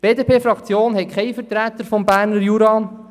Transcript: Die BDP-Fraktion hat keinen Vertreter des Berner Juras.